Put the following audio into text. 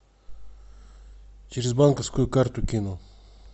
через банковскую карту кину